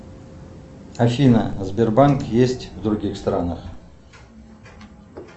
афина сбербанк есть в других странах